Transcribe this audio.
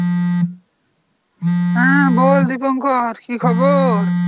হ্যাঁ বল দিপঙ্কর। কী খবর?